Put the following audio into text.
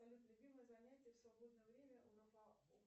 салют любимое занятие в свободное время у